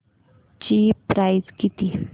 ची प्राइस किती